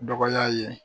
Dɔgɔya ye